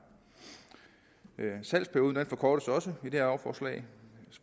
salgsperioden forkortes også i det her lovforslag